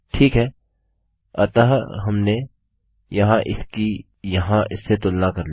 ठीक है अतः हमने यहाँ इसकी यहाँ इससे तुलना कर ली